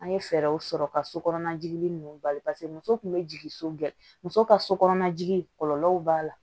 An ye fɛɛrɛw sɔrɔ ka so kɔnɔna jigi ninnu bali paseke muso kun be jigin so gɛ muso ka so kɔnɔna jigi kɔlɔlɔw b'a la